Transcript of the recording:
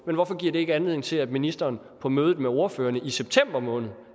men hvorfor giver det ikke anledning til at ministeren på mødet med ordførerne i september måned